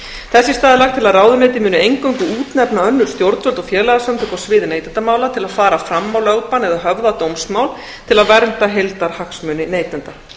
í stað er lagt til að ráðuneytið muni eingöngu útnefna önnur stjórnvöld og félagasamtök á sviði neytendamála til að fara fram á lögbann eða höfða dómsmál til að vernda heildarhagsmuni neytenda